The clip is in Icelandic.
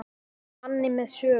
Manni með sögu.